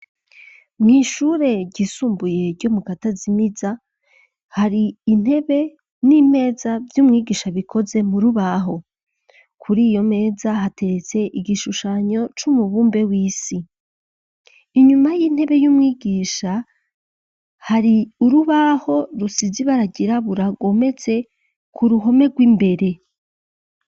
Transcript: Mw'ishure gisumbuye ryo mu katazimiza hari intebe n'imeza vy'umwigisha bikoze mu rubaho kuri iyo meza hateretse igishushanyo c'umubumbe w'isi inyuma y'intebe y'umwigisha hari urubaho rusizibarag irabura agomezse ku ruhome rw'imbere.